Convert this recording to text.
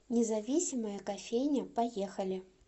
независимая кофейня поехали